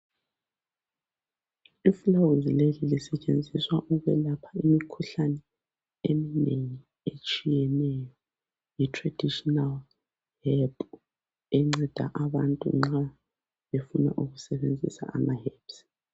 Ifulawuzi leli lisetshenziswa ukwelapha imikhuhlane eminengi etshiyeneyo yi"traditional herb"enceda abantu nxa befuna ukusebenzisa ama" herbs".